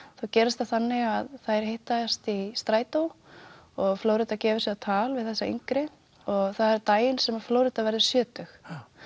gerist það þannig að þær hittast í strætó og Flórída gefur sig á tal við þessa yngri og það er daginn sem Flórída verður sjötug